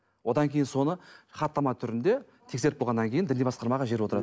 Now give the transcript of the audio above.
одан кейін соны хаттама түрінде тексеріп болғаннан кейін діни басқармаға жіберіп отырады